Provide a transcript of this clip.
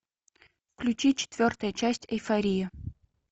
включи четвертая часть эйфория